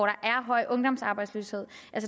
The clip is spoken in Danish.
er høj ungdomsarbejdsløshed